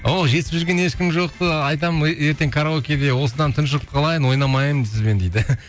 оу жетісіп жүрген ешкім жоқты айтам ертең караокеде осыдан тұншығып қалайын ойнамаймын сізбен дейді